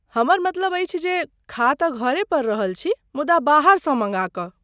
हमर मतलब अछि जे खा तऽ घरे पर रहल छी मुदा बाहरसँ मँगा कऽ।